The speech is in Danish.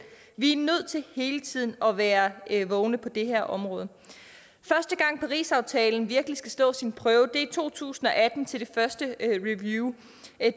vi er nødt til hele tiden at være vågne på det her område første gang parisaftalen virkelig skal stå sin prøve er i to tusind og atten til det første review